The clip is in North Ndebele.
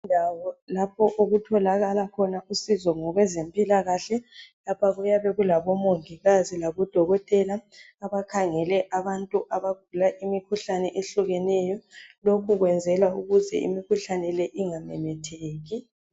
Kulendawo lapho okutholakala khona usizo ngokwezempilakahle lapha kuyabe kulabomongikazi labodokotela bakhangele abantu abagula imikhuhlane ehlukeneyo lokhu kuyezelwa ukuthi imikhuhlane le ingamemetheki.